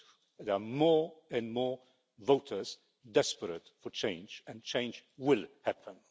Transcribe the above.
There are more and more voters desperate for change, and change will happen.